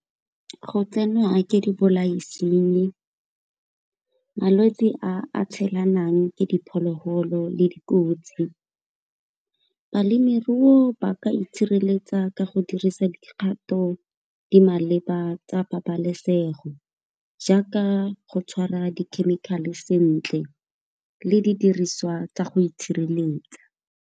Go tsenwa ke dibolaisinyi malwetsi a tshelanang ke diphologolo le dikotsi. Balemirui ba ka itshireletsa ka go dirisa dikgato di maleba tsa pabalesego, jaaka go tshwara di-chemical-e sentle le didiriswa tsa go itshireletsa.